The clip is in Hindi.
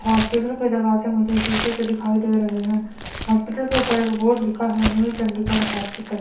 हॉस्पिटल के दरवाजे मुझे शीशे के दिखाई दे रहे हैं हॉस्पिटल के ऊपर एक बोर्ड लिखा है न्यू चंडीगढ़ हॉस्पिटल ।